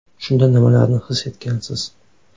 Shunda nimalarni his etgansiz?